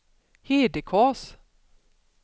Hedekas